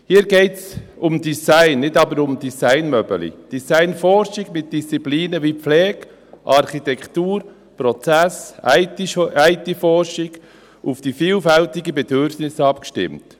Hier geht es um Design, nicht aber um Designmöbel, Design-Forschung mit Disziplinen wie Pflege, Architektur, Prozess, IT-Forschung, auf die vielfältigen Bedürfnisse abgestimmt.